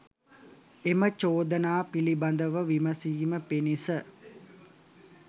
එම චෝදනා පිළිබඳව විමසීම පිණිස